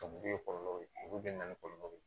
kɔlɔlɔ ye olu bɛɛ na ni kɔlɔlɔ ye